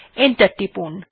enter টিপুন